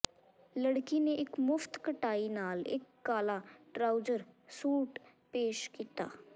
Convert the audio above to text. ਲੜਕੀ ਨੇ ਇੱਕ ਮੁਫ਼ਤ ਕਟਾਈ ਨਾਲ ਇੱਕ ਕਾਲਾ ਟਰਾਊਜ਼ਰ ਸੂਟ ਪੇਸ਼ ਕੀਤਾ